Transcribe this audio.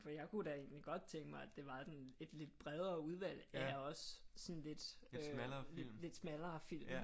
For jeg kunne da egentligt godt tænke mig at det var en lidt bredere udvalg af også sådan lidt smallere film